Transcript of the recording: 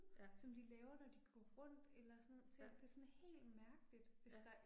Ja. Ja. Ja